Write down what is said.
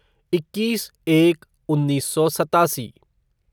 इक्कीस एक उन्नीस सौ सतासी